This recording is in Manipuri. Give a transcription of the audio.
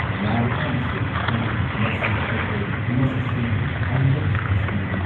ꯅꯥꯔꯀꯥꯟꯗꯁꯨ ꯗꯨ ꯃꯁꯤ ꯑꯩꯈꯣꯏ ꯃꯁꯤꯁꯨ ꯑꯟꯗꯕꯤꯁꯋꯥꯁ ꯑꯃꯅꯤ꯫